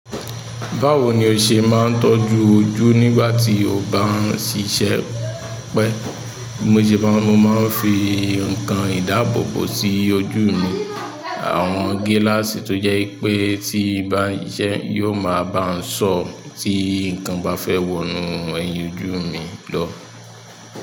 Báwo ni o ṣe máa ń tọ́jú ojú nígbà tí o bá ń ṣiṣẹ́ pẹ́? Mo ṣe bá, mo máa ń fi nǹkan ìdáàbòbò sí ojú mi. Àwọn gíláàsì tó jẹ́ wipé tí mo bá ń ṣisẹ, yóò máa bá ń ṣọ́ tí nǹkan bá fẹ́ wọnú ẹyin ojú mi lọ.